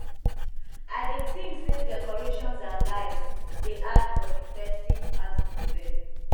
i dey think say decorations and lights dey add for for di festive atmosphere